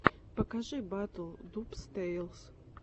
покажи батл дубс тэйлс